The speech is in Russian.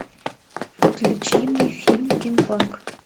включи мне фильм кинг конг